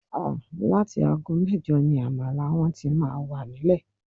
Áà!! Láti aago mẹ́jọ ni àmàlà wọn tí máa wà nílẹ̀